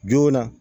Joona